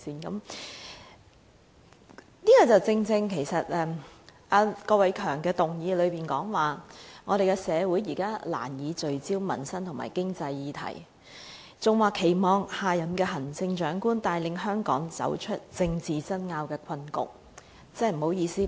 這正正是......郭偉强議員的議案內容是，社會難以聚焦民生及經濟議題，故期望下任行政長官帶領香港走出政治爭拗的困局。